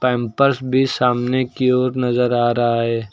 Pampers भी सामने की ओर नजर आ रहा है।